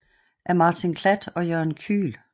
Af Martin Klatt og Jørgen Kühl